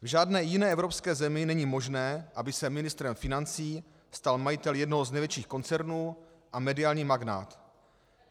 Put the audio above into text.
V žádné jiné Evropské zemi není možné, aby se ministrem financí stal majitel jednoho z největších koncernů a mediální magnát.